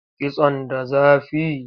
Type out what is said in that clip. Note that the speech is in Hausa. Kitson da zafi?